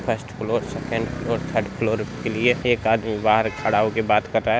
First floor second floor third floor उसके लिये एक आदमी बाहर खड़ा होके बात कर रहा है।